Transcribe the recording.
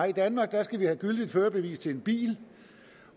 i danmark skal de have gyldigt førerbevis til en bil